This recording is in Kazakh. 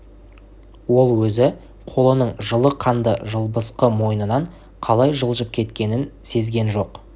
ол өзі қолының жылы қанды жылбысқы мойнынан қалай жылжып шығып кеткенін сезген жоқ